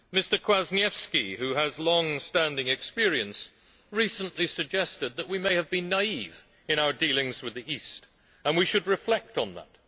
Mr Kwasniewski, who has longstanding experience, recently suggested that we may have been naive in our dealings with the East, and we should reflect on that.